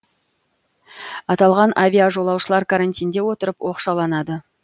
аталған авиажолаушылар карантинде отырып оқшауланады